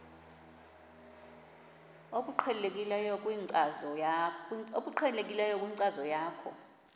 obuqhelekileyo kwinkcazo yakho